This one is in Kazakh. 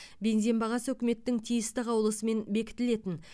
бензин бағасы үкіметтің тиісті қаулысымен бекітілетін